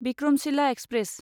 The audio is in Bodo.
विक्रमशिला एक्सप्रेस